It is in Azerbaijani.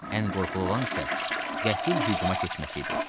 Ən qorxulu olan isə qəfil hücuma keçməsi idi.